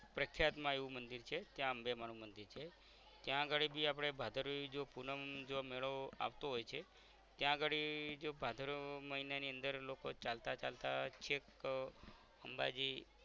પ્રખ્યાત માં એવું મંદિર છે ત્યાં અંબે માં નું મંદિર છે ત્યાં અગાળી બી આપદે ભાદરવી જો પૂનમ જો મેળો આવતો હોય છે ત્યાં અગાળી જો ભાદરવા મહિના ની અંદર લોકો ચાલતા ચાલતા છેક આહ અંબાજી